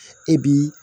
E bi